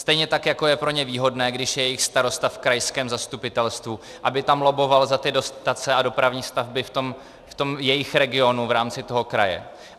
Stejně tak jako je pro ně výhodné, když je jejich starosta v krajském zastupitelstvu, aby tam lobboval za ty dotace a dopravní stavby v tom jejich regionu v rámci toho kraje.